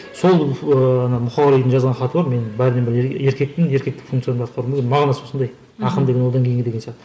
сол ыыы ана мұқағалидың жазған хаты бар мен бәрінен бұрын еркекпін еркектік функциямды атқару керек мағынасы осындай ақын деген одан кейінгі деген